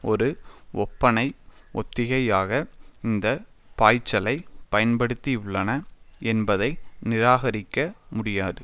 ஒரு ஒப்பனை ஒத்திகையாக இந்த பாய்ச்சலை பயன்படுத்தியுள்ளன என்பதை நிராகரிக்க முடியாது